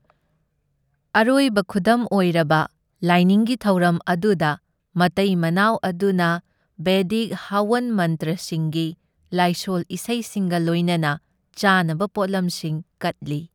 ꯑꯔꯣꯏꯕ ꯈꯨꯗꯝ ꯑꯣꯏꯔꯕ ꯂꯥꯏꯅꯤꯡꯒꯤ ꯊꯧꯔꯝ ꯑꯗꯨꯗ, ꯃꯇꯩ ꯃꯅꯥꯎ ꯑꯗꯨꯅ ꯕꯦꯗꯤꯛ ꯍꯋꯟ ꯃꯟꯇ꯭ꯔꯁꯤꯡꯒꯤ ꯂꯥꯏꯁꯣꯜ ꯏꯁꯩꯁꯤꯡꯒ ꯂꯣꯏꯅꯅ ꯆꯥꯅꯕ ꯄꯣꯠꯂꯝꯁꯤꯡ ꯀꯠꯂꯤ꯫